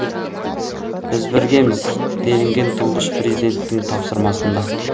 біз біргеміз делінген тұңғыш президенттің тапсырмасында